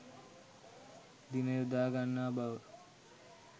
දින යොදා ගන්නා බව